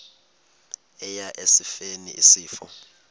eya esifeni isifo